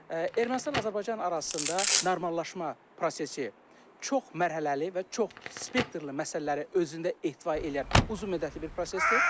Ermənistan-Azərbaycan arasında normallaşma prosesi çoxmərhələli və çox spektrli məsələləri özündə ehtiva edən uzunmüddətli bir prosesdir.